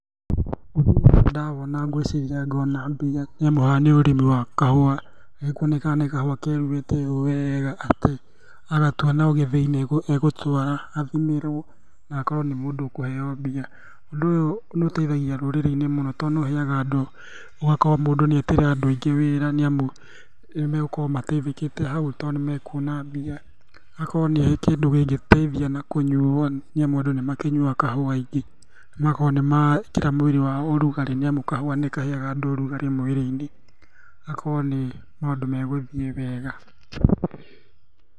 Ũndũ ũyũ ndawona ngwĩciria ngona mbia nĩ amu haha nĩ ũrĩmi wa kahũa. gekuonekana nĩ kahũa keruhĩte ũũ wega atĩ agatua no gĩthĩ-inĩ egũtwara, athimerwo na akorwo nĩ mũndũ ũkũheo mbia. Ũndũ ũyũ nĩũteithagia rũrĩrĩ-inĩ mũno tondũ nĩ ũheaga andũ, ũgakora mũndũ nĩetĩra andũ aingĩ wĩra arĩa megũkorwo mateĩthĩkĩte hau tondũ nĩmekuona mbia. Agakorwo nĩ kĩndũ kĩngĩteithia na kũnyuo nĩ amu andũ nĩmakĩnyuaga kahũa aingĩ. Magakorwo nĩmeekĩra mwĩrĩ wao ũrugarĩ nĩ amu kahũa nĩkaheaga andũ ũrugarĩ mwĩrĩ-inĩ. Hakorwo nĩ maũndũ me gũthiĩ wega.